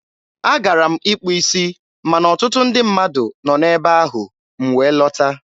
a gara m ịkpụ isi ma na ọtụtụ ndị mmadụ nọ n'ebe ahụ, m wee lọta.